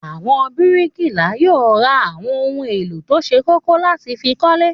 Àwọn bíríkìlà yóò ra àwọn ohun-èlò tó ṣe kókó láti fi kọ́lé.